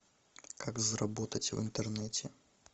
как заработать в интернете